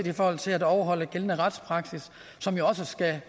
i forhold til overholdelse af gældende retspraksis som jo skal